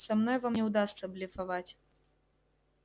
со мной вам не удастся блефовать